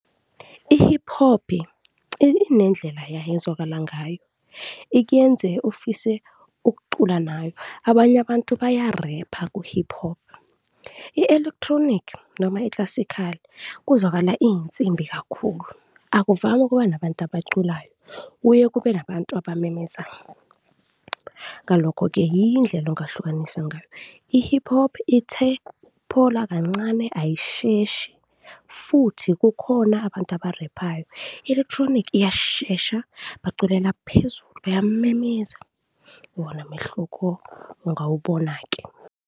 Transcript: I-hip hop inendlela yayo ezwakala ngayo, ikuyenze ufise ukucula nayo, abanye abantu bayarepha ku-hip hop. I-Electronic noma iklasikhali kuzwakala iy'nsimbi kakhulu, akuvami ukuba nabantu abaculayo, kuye kube nabantu abamemezayo. Ngalokho-ke yiyo indlela ongahlukanisa ngayo, i-hip hop ithe ukuphola kancane, ayisheshi futhi kukhona abantu abarephayo, i-electronic iyashesha baculela phezulu, bayamemeza. Iwona mehluko ngawubona-ke.